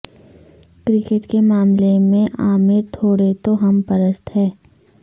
cricket کے معاملے میں عامر تھوڑے توہم پرست ہیں